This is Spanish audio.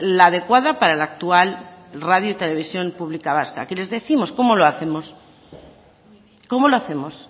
la adecuada para la actual radio y televisión pública vasca qué les décimos cómo lo hacemos cómo lo hacemos